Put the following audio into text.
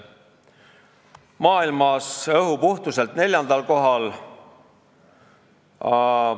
Maailmas oleme õhu puhtuselt neljandal kohal.